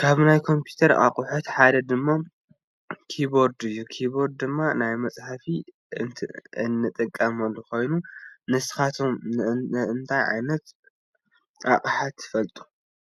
ካብ ናይ ኮምፒተር አቁሕት ሓደ ድማ ኪቦርድ እዩ። ኪቦርድ ድማ ናይ መፅሐፊ እንጥቀመሉ ኮይኑ ንስካትኩም ከእንታይ ዓይነት አቅሓ ትፈልጡ?